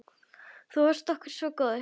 Þú varst okkur svo góður.